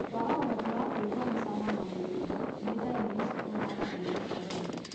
Kwaga ũhoti wa kwĩgua mĩcamo na mĩnungo nĩ ndariri cikuruhanagio na corona.